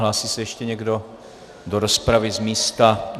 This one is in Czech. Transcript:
Hlásí se ještě někdo do rozpravy z místa?